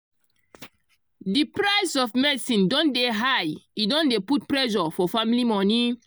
the price of medicine don dey high e don dey put pressure for family monie.